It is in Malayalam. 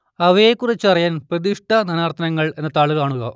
അവയെക്കുറിച്ചറിയാൻ പ്രതിഷ്ഠ നാനാർത്ഥങ്ങൾ എന്ന താൾ കാണുക